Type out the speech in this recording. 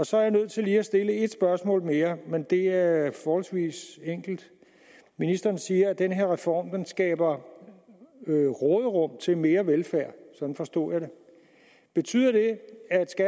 så er jeg nødt til at stille et spørgsmål mere men det er forholdsvis enkelt ministeren siger at den her reform skaber råderum til mere velfærd sådan forstod jeg det betyder det